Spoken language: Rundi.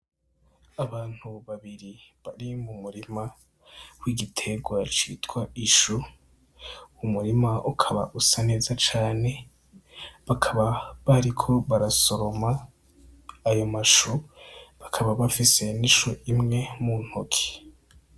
Abantu babiri bari mu murima w'igitegwa citwa ishu umurima ukaba usa neza cane, bakaba bariko barasoroma ayo mashu bakaba bafise n'ishu imwe mu ntoki.